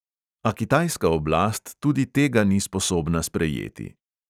A kitajska oblast tudi tega ni sposobna sprejeti.